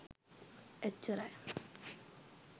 එච්චරයි